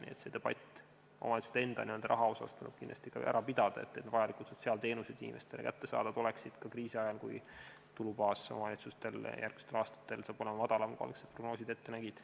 Nii et see debatt omavalitsuste enda raha üle tuleb kindlasti ka ära pidada, et vajalikud sotsiaalteenused oleksid inimestele kättesaadavad ka kriisiajal, sest omavalitsuste tulubaas on järgmistel aastatel madalam, kui algsed prognoosid ette nägid.